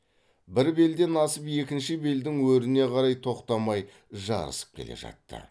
бір белден асып екінші белдің өріне қарай тоқтамай жарысып келе жатты